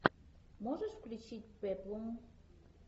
можешь включить пеплум